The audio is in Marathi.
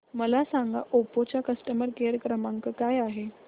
मला सांगा ओप्पो चा कस्टमर केअर क्रमांक काय आहे